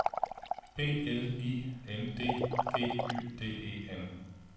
B L I N D G Y D E N